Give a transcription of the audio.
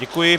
Děkuji.